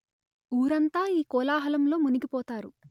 ఊరంతా ఈ కోలా హలంలో మునిగి పోతారు